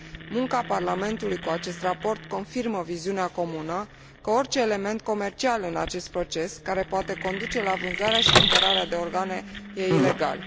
Munca Parlamentului cu acest raport confirmă viziunea comună asupra faptului că orice element comercial în acest proces, care poate conduce la vânzarea și cumpărarea de organe, este ilegal.